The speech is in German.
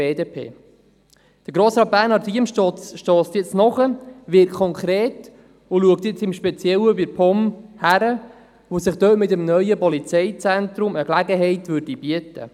Bernhard Riem wird konkret und prüft jetzt speziell die POM, weil sich dort mit dem neuen Polizeizentrum eine Gelegenheit bieten würde.